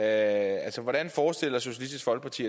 altså hvordan forestiller socialistisk folkeparti